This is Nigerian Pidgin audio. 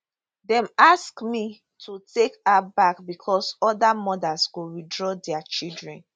[centre] dem ask me to take her back becos oda mothers go withdraw dia children